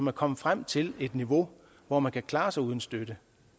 er kommet frem til et niveau hvor man kan klare sig uden støtte det